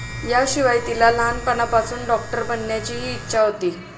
याशिवाय तिला लहाणपणापासून डॉक्टर बनण्याचीही इच्छा होती.